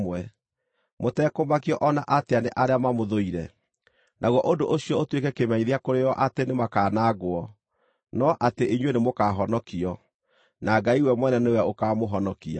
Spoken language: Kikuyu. mũtekũmakio o na atĩa nĩ arĩa mamũthũire. Naguo ũndũ ũcio ũtuĩke kĩmenyithia kũrĩ o atĩ nĩmakanangwo, no atĩ inyuĩ nĩmũkahonokio, na Ngai we mwene nĩwe ũkaamũhonokia.